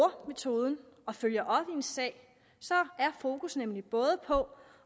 metoden og følger op en sag er fokus nemlig både på